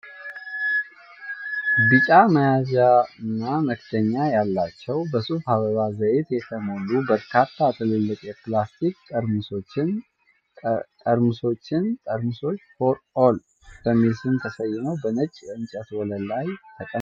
ቢጫ መያዣና መክደኛ ያላቸው፣ በሱፍ አበባ ዘይት የተሞሉ በርካታ ትልልቅ የፕላስቲክ ጠርሙሶችን ። ጠርሙሶቹ "ፎር ኦል" በሚል ስም ተሰይመው በነጭ የእንጨት ወለል ላይ ተቀምጠዋል።